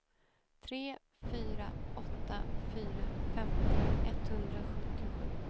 tre fyra åtta fyra femtio etthundrasjuttiosju